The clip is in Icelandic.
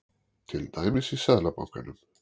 Til dæmis í Seðlabankanum.